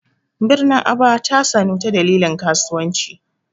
Birnin Aba ta sanu ta dalilin kasuwanci.